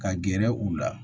Ka gɛrɛ u la